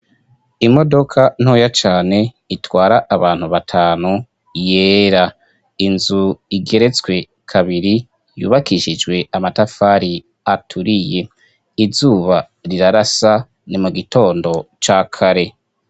Imodoka ntoya cane itwara abantu batanu yera, inzu igeretswe kabiri yubakishijwe amatafari aturiye, izuba rirarasa ni mugitondo cakare.